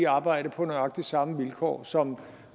arbejdede på nøjagtig samme vilkår som